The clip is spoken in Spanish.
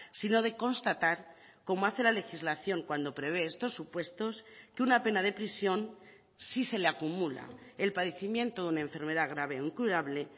sino de constatar como hace la legislación cuando prevé estos supuestos que una pena de prisión sí se le acumula el padecimiento de una enfermedad grave incurable